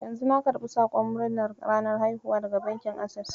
Yanzu na karɓi sakon murnar ranar haihuwa daga bankin Ases.